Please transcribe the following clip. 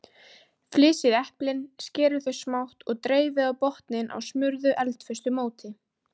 Flysjið eplin, skerið þau smátt og dreifið á botninn á smurðu eldföstu móti.